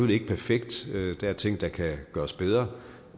ikke perfekt der er ting der kan gøres bedre